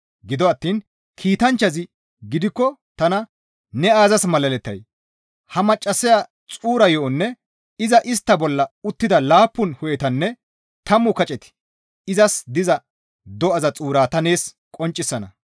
Gido attiin kiitanchchazi gidikko tana, «Ne aazas malalettay? Ha maccassaya xuura yo7onne iza istta bolla uttida laappun hu7etanne tammu kaceti izas diza do7aza xuuraa ta nees qonccisana.